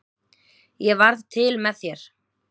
Ég varð til með þér.